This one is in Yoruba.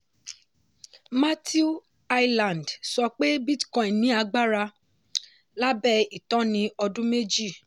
matthew hyland sọ pé bitcoin ní agbára lábẹ́ ìtọ́́ni ọdún méjì.